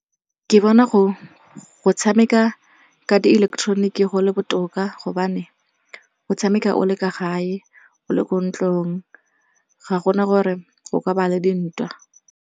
Ke bona go tshameka ka di ileketeroniki go le botoka gobane o tshameka o le kwa gae, o le ko ntlong ga gona gore go ka ba le dintwa.